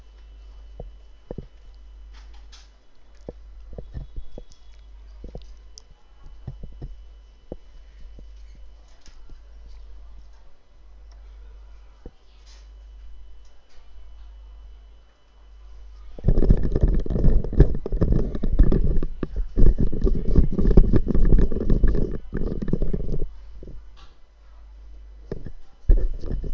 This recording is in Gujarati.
હા